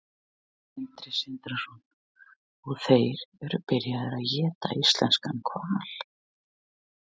Sindri Sindrason: Og þeir eru byrjaðir að éta íslenskan hval?